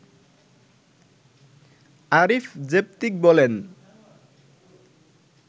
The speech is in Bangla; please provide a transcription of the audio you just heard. আরিফ জেবতিক বলেন